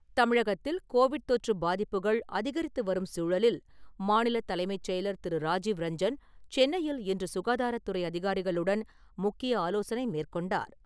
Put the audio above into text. தமிழகத்தில் கோவிட் தொற்று பாதிப்புகள் அதிகரித்துவரும் சூழலில், மாநில தலைமைச் செயலர் திரு.ராஜீவ்ரஞ்சன், சென்னையில் இன்று சுகாதாரத்துறை அதிகாரிகளுடன் முக்கிய ஆலோசனை மேற்கொண்டார்.